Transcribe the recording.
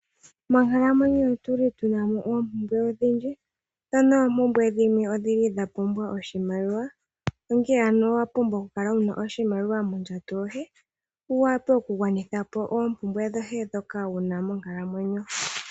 Monkalamwenyo otu li tu na mo oompumbwe odhindji, dho noompumbwe dhimwe odhi li dha pumbwa oshimaliwa. Onkene ano owa pumbwa okukala wu na oshimaliwa mondjato yoye, opo wu wape okugwanitha po oompumbwe dhoye ndhoka wu na monkalamwenyo.